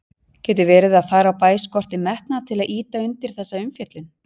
Getur verið að þar á bæ skorti metnað til að ýta undir þessa umfjöllun?